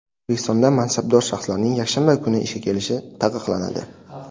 O‘zbekistonda mansabdor shaxslarning yakshanba kuni ishga kelishi taqiqlanadi.